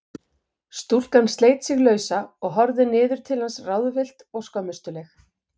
Stúlkan sleit sig lausa og horfði niður til hans ráðvillt og skömmustuleg.